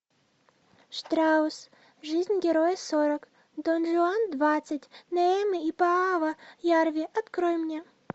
штраус жизнь героя сорок дон жуан двадцать неэме и пааво ярви открой мне